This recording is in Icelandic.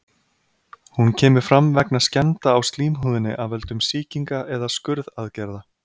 Hún kemur fram vegna skemmda á slímhúðinni af völdum sýkinga eða skurðaðgerða.